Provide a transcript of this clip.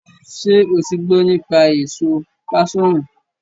ṣé o ti gbọ́ nípa èso páṣọ̀nù?